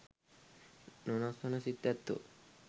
නොවෙනස් වන සිත් ඇත්තෝ